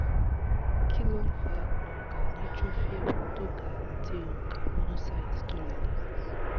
kí ló ń fa ń fa onka neutrophil tó gà àti onka monocyte tó lolẹ?